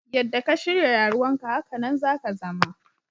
Yadda ka shirya rayuwan ka, hakanan ne za ka zama.